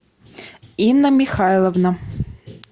инна михайловна